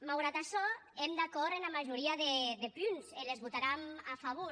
maugrat açò èm d’acòrd ena majoria de punts e les votaram a favor